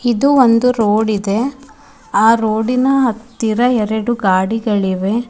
ಇದು ಒಂದು ರೋಡ್ ಇದೆ ಆ ರೋಡಿನ ಹತ್ತಿರ ಎರಡು ಗಾಡಿಗಳು ಇವೆ.